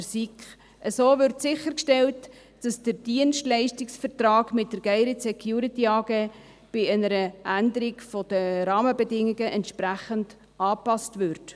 der SiK. So wird sichergestellt, dass der Dienstleistungsvertrag mit der GSD bei einer Änderung der Rahmenbedingungen entsprechend angepasst wird.